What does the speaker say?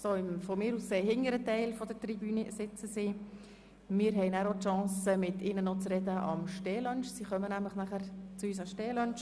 Wir werden die Gelegenheit haben, mit diesen Gästen im Rahmen des Stehlunchs zu sprechen, den sie mit uns einnehmen werden.